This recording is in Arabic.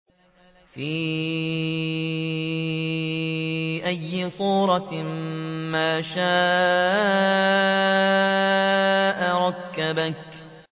فِي أَيِّ صُورَةٍ مَّا شَاءَ رَكَّبَكَ